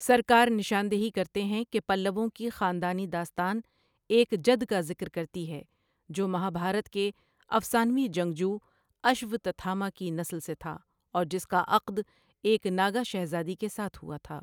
سرکار نشاندہی کرتے ہیں کہ پلّوؤں کی خاندانی داستان ایک جد کا ذکر کرتی ہے جو مہابھارت کے افسانوی جنگجو اشوتتھاما کی نسل سے تھا اور جس کا عقد ایک ناگا شہزادی کے ساتھ ہوا تھا۔